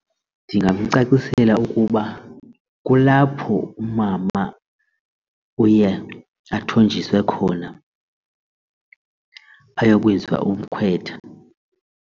Ndingamcacisela ukuba kulapho umama uye athonjiswe khona ayokwenziwa umkhwetha.